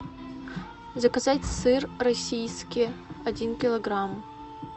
заказать сыр российский один килограмм